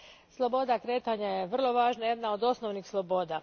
Sloboda kretanja je vrlo važna, jedna od osnovnih sloboda.